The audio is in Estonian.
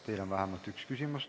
Teile on vähemalt üks küsimus.